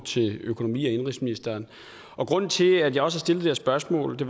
til økonomi og indenrigsministeren grunden til at jeg også det her spørgsmål og det